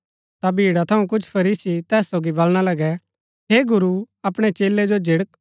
ता भीड़ा थऊँ कुछ फरीसी तैस सोगी वलणा लगै हे गुरू अपणै चेलै जो झिड़क